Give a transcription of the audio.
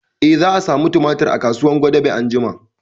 Eh, za a samu tumatir a kasuwar gwadabe anjima